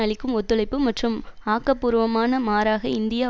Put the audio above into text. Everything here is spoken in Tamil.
அளிக்கும் ஒத்துழைப்பு மற்றும் ஆக்க பூர்வமான மாறாக இந்தியா